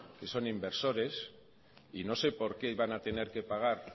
que son inversores y no sé por qué iban a tener que pagar